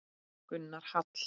Gunnar Hall.